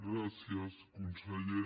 gràcies conseller